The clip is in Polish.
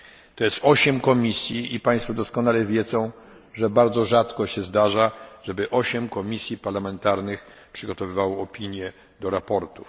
To jest osiem komisji i Państwo doskonale wiedzą, że bardzo rzadko się zdarza, żeby osiem komisji parlamentarnych przygotowywało opinie do sprawozdań.